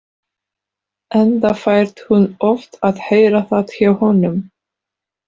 Enda fær hún oft að heyra það hjá honum.